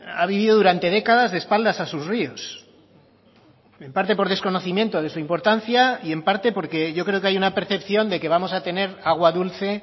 ha vivido durante décadas de espaldas a sus ríos en parte por desconocimiento de su importancia y en parte porque yo creo que hay una percepción de que vamos a tener agua dulce